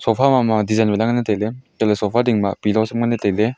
sofa ma ma design ma danle taile antoley sofa dingma pillow sham nganle taile.